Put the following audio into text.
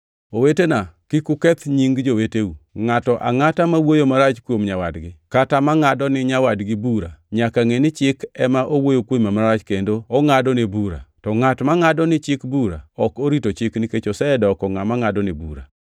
Owetena, kik uketh nying joweteu. Ngʼato angʼata ma wuoyo marach kuom nyawadgi kata mangʼado ni nyawadgi bura nyaka ngʼe ni Chik ema owuoyo kuome marach kendo ongʼadone bura. To ngʼat mangʼado ni Chik bura ok orito Chik nikech osedoko ngʼama ngʼadone bura.